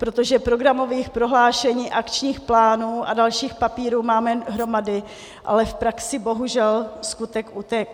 Protože programových prohlášení, akčních plánů a dalších papírů máme hromady, ale v praxi bohužel skutek utek'.